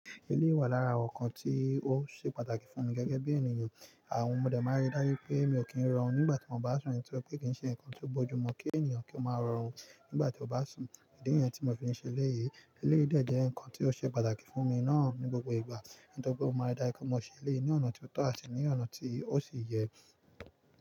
Eleyi wà lára awon nǹkan tí ó ṣe pàtàkì fún mi gẹ́gẹ́ bí ènìyàn. Àwọn mọdé máa rí dájú pé mi ò kí ń rọrùn nígbà tí wọ́n bá sùn, nítorí pé kì í ṣe nǹkan tó bójú mu kí ènìyàn kí ó máa rọrùn nígbà tí ó bá sùn. Ìdí niyẹn tí mò fi ń ṣe elé yìí. Elé yìí dẹ̀ jẹ́ ǹkan tí ó ṣe pàtàkì fún mi náà ní gbogbo ìgbà, nítorí pé ó máa dáa kí mo ṣe eléyi naa ní ọ̀nà tó tọ́ àti ní ọ̀nà tí ó sì yẹ.